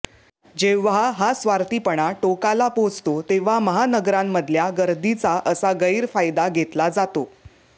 जेव्हा हा स्वार्थीपणा टोकाला पोहचतो तेव्हा महानगरांमधल्या गर्दीचा असा गैरफायदा घेतला जातो